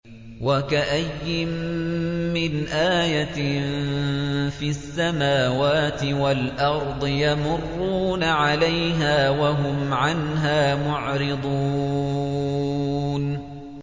وَكَأَيِّن مِّنْ آيَةٍ فِي السَّمَاوَاتِ وَالْأَرْضِ يَمُرُّونَ عَلَيْهَا وَهُمْ عَنْهَا مُعْرِضُونَ